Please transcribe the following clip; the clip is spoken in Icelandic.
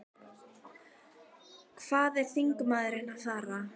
Hvað er þingmaðurinn að fara?